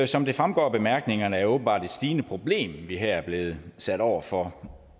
som det fremgår af bemærkningerne er det åbenbart et stigende problem vi her er blevet sat over for